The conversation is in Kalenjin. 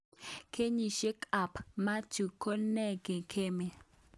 Kenyishek kap Mathew:ngo ne ke'ngeme.